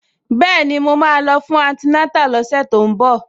Bẹ́ẹ̀ni, màá lọ fún antinátà lọ́sẹ̀ tó ń bọ̀